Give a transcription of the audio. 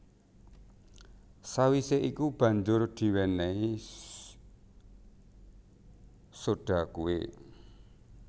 Sawisé iku banjur diwénéhi soda kué